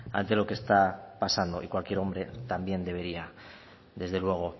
ante lo que está pasando y cualquier hombre también debería desde luego